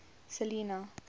selinah